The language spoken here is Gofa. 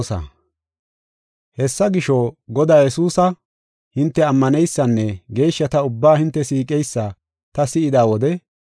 Hessa gisho, Godaa Yesuusa hinte ammaneysanne geeshshata ubbaa hinte siiqeysa ta si7ida wode